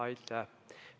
Aitäh!